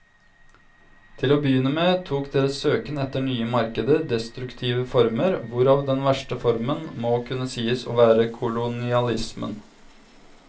Til å begynne med tok deres søken etter nye markeder destruktive former, hvorav den verste formen må kunne sies å være kolonialismen.